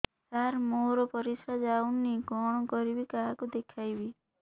ସାର ମୋର ପରିସ୍ରା ଯାଉନି କଣ କରିବି କାହାକୁ ଦେଖେଇବି